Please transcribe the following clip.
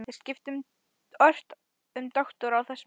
Þeir skiptu ört um doktora á þessum stað.